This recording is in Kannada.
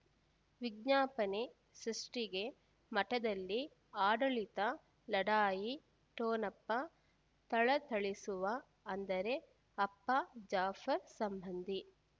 ವಿಜ್ಞಾಪನೆ ಸೃಷ್ಟಿಗೆ ಮಠದಲ್ಲಿ ಆಡಳಿತ ಲಢಾಯಿ ಠೊಣಪ ಥಳಥಳಿಸುವ ಅಂದರೆ ಅಪ್ಪ ಜಾಫರ್ ಸಂಬಂಧಿ